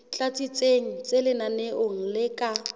tlatsitsweng tse lenaneong le ka